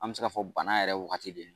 An bɛ se k'a fɔ banna yɛrɛ wagati de